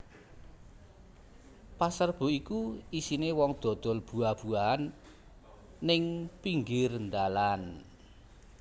Pasar Rebo kui isine wong dodol buah buahan ning pinggir ndalan